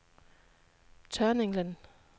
Tørninglen